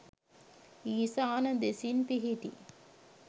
ඊසාන දෙසින් පිහිටි